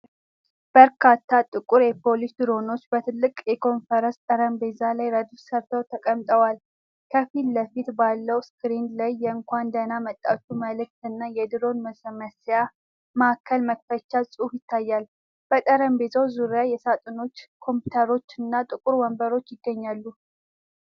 በርካታ ጥቁር የፖሊስ ድሮኖች በትልቅ የኮንፈረንስ ጠረጴዛ ላይ ረድፍ ሰርተው ተቀምጠዋል። ከፊት ለፊት ባለው ስክሪን ላይ የእንኳን ደህና መጣችሁ መልዕክት እና የድሮን ማስመሰያ ማዕከል መክፈቻ ጽሑፍ ይታያል። በጠረጴዛው ዙሪያ ሳጥኖች፣ ኮምፒውተሮች እና ጥቁር ወንበሮች ይገኛሉ።